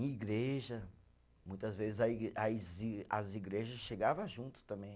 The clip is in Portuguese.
Em igreja, muitas vezes a igre, as i, as igrejas chegava junto também.